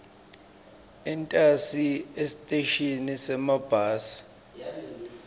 entasi esiteshini semabhasi